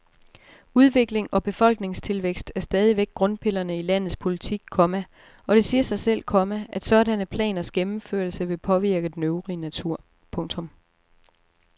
Udvikling og befolkningstilvækst er stadigvæk grundpillerne i landets politik, komma og det siger sig selv, komma at sådanne planers gennemførelse vil påvirke den øvrige natur. punktum